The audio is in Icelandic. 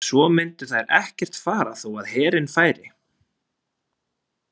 Svo myndu þær ekkert fara þó að herinn færi.